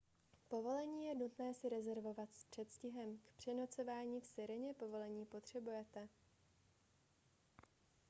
povolení je nutné si rezervovat s předstihem k přenocování v sireně povolení potřebujete